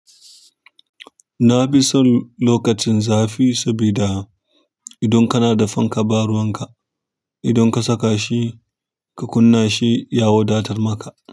Na fi son lokacin zafi sabida idan kana da fanka, ba ruwan ka. Idan ka saka shi ka kunna shi ya wadatar maka.